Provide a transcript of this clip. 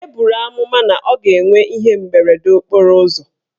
E buru amụma na ọ ga-enwe ihe mberede okporo ụzọ.